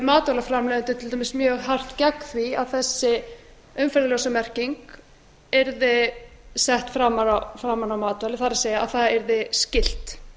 matvælaframleiðendur til dæmis mjög hart gegn því að þessi umferðarljósamerking yrði sett framan á matvæli það er það yrði skylt